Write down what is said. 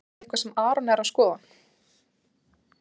Er það eitthvað sem Aron er að skoða?